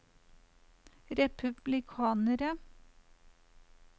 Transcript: republikanere